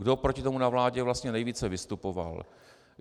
Kdo proti tomu na vládě vlastně nejvíce vystupoval?